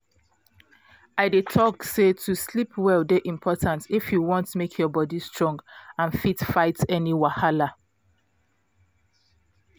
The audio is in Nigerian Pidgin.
i dey talk say to sleep well dey important if you wan make your body strong and fit fight any wahala